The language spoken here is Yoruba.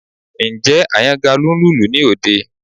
Ǹjẹ́ Àyàngalú ń lùlù ní òde?